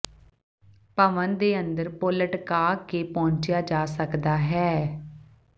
ਭਵਨ ਦੇ ਅੰਦਰ ਪੁਲ ਲਟਕਾਈ ਕੇ ਪਹੁੰਚਿਆ ਜਾ ਸਕਦਾ ਹੈ